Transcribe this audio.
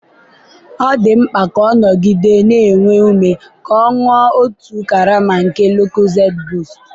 ọ dị mkpa ka ọ nọgide na-enwe ume ka ọ ṅụọ otu karama nke Lucozade boost